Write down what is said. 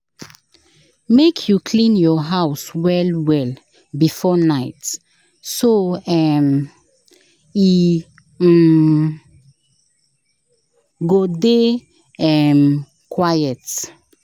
Make you clean your house well well before night, so um e um go dey um quiet.